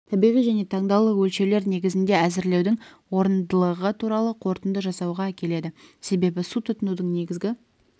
табиғи және таңдаулы өлшеулер негізінде әзірлеудің орындылығы туралы қорытынды жасауға әкеледі себебі су тұтынудың негізгі